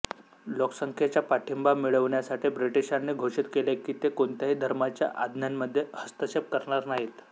लोकसंख्येचा पाठिंबा मिळवण्यासाठी ब्रिटीशांनी घोषित केले की ते कोणत्याही धर्माच्या आज्ञांमध्ये हस्तक्षेप करणार नाहीत